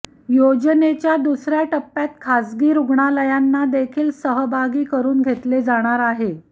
योजनेच्या दुसर्या टप्प्यात खासगी रुग्णालयांनादेखील सहभागी करुन घेतले जाणार आहे